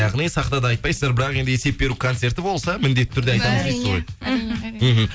яғни сахнада айтпайсыздар бірақ енді есеп беру концерті болса міндетті түрде айтасыздар ғой әрине мхм